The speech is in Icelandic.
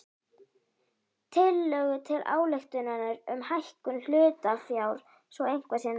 tillögu til ályktunar um hækkun hlutafjár svo eitthvað sé nefnt.